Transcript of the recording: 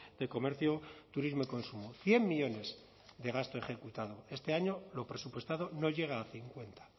de comercio turismo y consumo cien millónes de gasto ejecutado este año lo presupuestado no llega a cincuenta